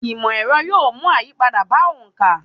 Ìmọ̀ ẹrọ yóò mú àyípadà bá òǹkà.